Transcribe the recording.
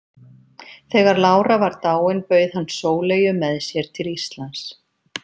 Þegar lára var dáin bauð hann Sóleyju með sér til Íslands.